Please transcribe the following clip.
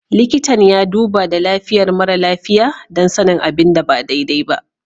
Likitan ya duba da lafiyar mara lafiya don sanin abin da ba daidai ba.